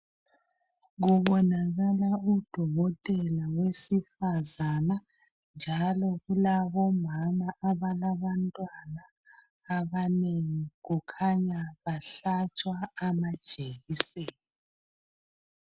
Kubonakala udokotela wesifazana njalo kulabomama abalabantwana abanengi. Kukhanya bahlatshwa amajekiseni.